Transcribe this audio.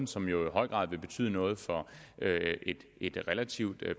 som jo i høj grad vil betyde noget for et relativt